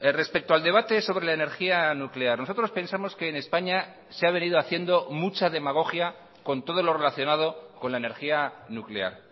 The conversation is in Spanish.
respecto al debate sobre la energía nuclear nosotros pensamos que en españa se ha venido haciendo mucha demagogia con todo lo relacionado con la energía nuclear